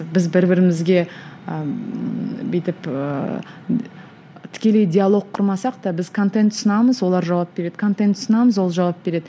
біз бір бірімізге ы бүйтіп ііі тікелей диалог құрмасақ та біз контент ұсынамыз олар жауап береді контент ұсынамыз ол жауап береді